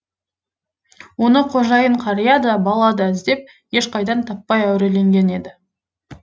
оны қожайын қария да бала да іздеп ешқайдан таппай әуреленген еді